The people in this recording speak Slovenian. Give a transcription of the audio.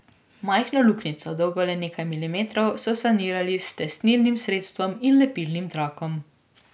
Majhno luknjico, dolgo le nekaj milimetrov, so sanirali s tesnilnim sredstvom in lepilnim trakom.